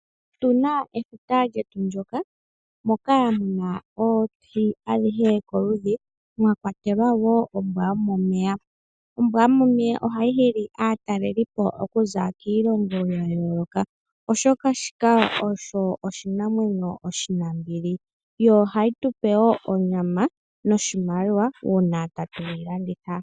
Otuna efuta lyetu moka muna oohi dhomaludhi oshowo oombwa dhomomeya. Oombwa dhomomeya ohadhi hili kaatalelipo oku za kiilongo ya yoloka, oshoka osho oshinamwenyo oshi nambili, ohashi tu pe onyama noshimaliwa una shalandithwapo.